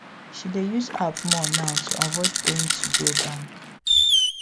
she dey use app more now to avoid paying to go bank